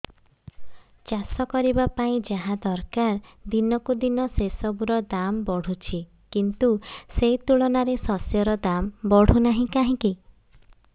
ଚାଷ କରିବା ପାଇଁ ଯାହା ଦରକାର ଦିନକୁ ଦିନ ସେସବୁ ର ଦାମ୍ ବଢୁଛି କିନ୍ତୁ ସେ ତୁଳନାରେ ଶସ୍ୟର ଦାମ୍ ବଢୁନାହିଁ କାହିଁକି